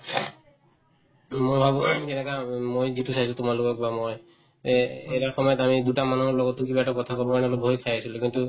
যেনেকা উম মই যিটো চাইছো তোমালোকক বা মই এই এ‍ এটা সময়ত আমি দুটা মানুহৰ লগতো কিবা এটা কথা কবৰ কাৰণে অলপ ভয় খাই আছিলে কিন্তু